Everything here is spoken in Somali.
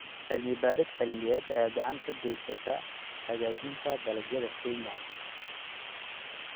Cilmi-baaris cilmiyeed ayaa gacan ka geysata hagaajinta dalagyada Kenya.